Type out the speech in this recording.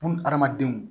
Buna adamadenw